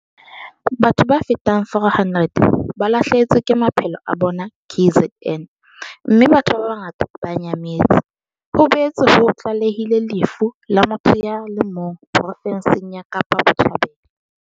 Batho ba fetang 400 ba lahlehetswe ke maphelo a bona KZN, mme batho ba bangata ba nyametse. Ho boetse ho tlalehilwe lefu la motho ya le mong profenseng ya Kapa Botjhabela.